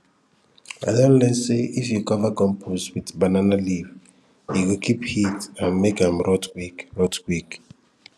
i don learn say if you cover compost with banana leaf e go keep heat and make am rot quick rot quick